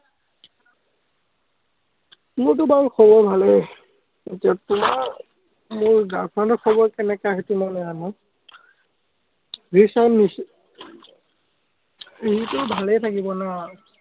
মোৰটো বাৰু খবৰ ভালেই, মোৰ girl friend ৰ খবৰ , সেইটো মই নাজানো। ভালেই থাকিব